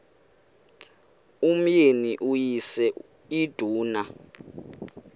umyeni uyise iduna